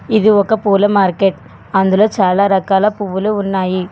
ఇది ఒక పూల మార్కెట్ అందులో చాలా రకాల పువ్వులు ఉన్నాయి.